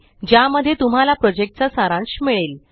ज्या मध्ये तुम्हाला प्रोजेक्ट चा सारांश मिळेल